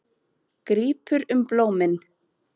Grípur um blómin.